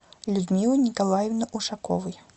людмилы николаевны ушаковой